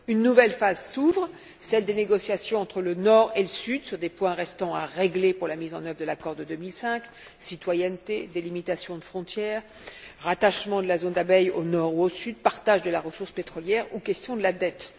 Une nouvelle phase s'ouvre, celle des négociations entre le Nord et le Sud sur des points restant à régler pour la mise en œuvre de l'accord de 2005 citoyenneté, délimitation de frontières, rattachement de la zone d'Abyei au Nord ou au Sud, partage de la ressource pétrolière ou question de la dette.